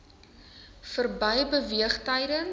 verby beweeg tydens